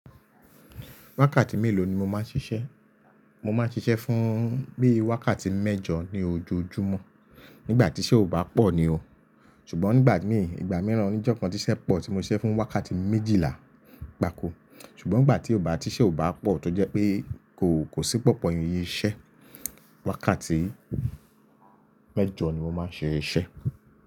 Wákàtí mélòó ni mo máa ń ṣiṣẹ́? Mo máa ń ṣiṣẹ́ fún bí wákàtí mẹ́jọ ní ojoojúmọ́ nígbà tí iṣẹ́ ò bá pọ̀ ni o. Ṣùgbọ́n nígbà mí, ìgbà mìíràn oní ojó kan tí iṣẹ́ pọ̀ tí mo ṣe fún wákàtí méjìlá gbako. Ṣùgbọ́n nígbà tí ò bá, ti iṣẹ́ ò bá pọ̀ tó jẹ́ pé kò, kò sí pọ̀pọ̀ iṣẹ́, wákàtí mẹ́jọ ni mo máa ń ṣe iṣẹ́.